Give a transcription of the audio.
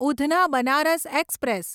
Udhna Banaras express